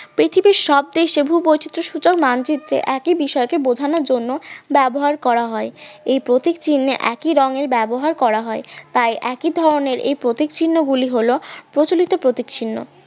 পৃথিবীর সব দেশে ভূবৈচিত্র সূচক মানচিত্রে একই বিষয়কে বোঝানোর জন্য ব্যবহার করা হয় এই প্রতীক চিহ্নে একই রংয়ের ব্যবহার করা হয় তাই একই ধরনের এই প্রতীক চিহ্ন গুলি হল প্রচলিত প্রতীক চিহ্ন